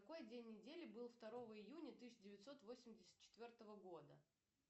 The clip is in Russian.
какой день недели был второго июня тысяча девятьсот восемьдесят четвертого года